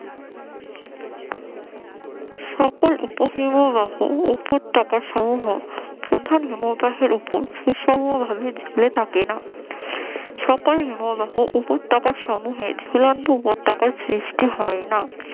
সকল উপ হিমবাহ ও উপত্যকার সমূহ প্রধান হিমবাহের উপর সুষম ভাবে ঝুলে থাকে না সকল হিমবাহ উপত্যকা সমূহের ঝুলন্ত উপত্যকা সৃষ্টি হয় না